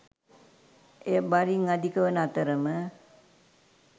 එය බරින් අධික වන අතර ම